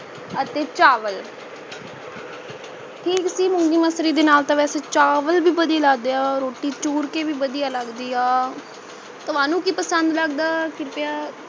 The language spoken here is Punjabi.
ਅਤੇ ਚਾਵਲ ਠੀਕ ਸੀ ਮੂੰਗੀ ਮਸਰੀ ਦੇ ਨਾਲ ਤਾਂ ਵੈਸੇ ਚਾਵਲ ਵੀ ਵਧੀਆ ਲਗਦੇ ਹੈ ਰੋਟੀ ਚੂਰ ਕੇ ਵੀ ਵਧੀਆ ਲੱਗਦੀ ਏ ਤੁਹਾਨੂੰ ਕਿ ਪਸੰਦ ਲੱਗਦਾ ਕ੍ਰਿਪਯਾ